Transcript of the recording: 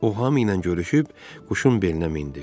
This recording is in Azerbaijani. O hamı ilə görüşüb quşun belinə mindi.